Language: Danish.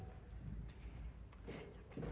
er